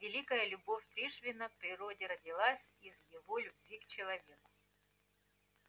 великая любовь пришвина к природе родилась из его любви к человеку